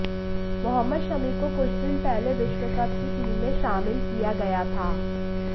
मो शमी को कुछ दिन पहले विश्वकप की टीम में शामिल किया गया था